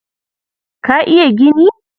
Ka iya gini?